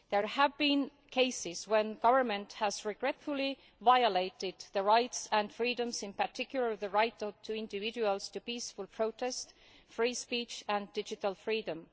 There have been cases in which the government has regretfully violated rights and freedoms, in particular the right of individuals to peaceful protest, free speech and digital freedom.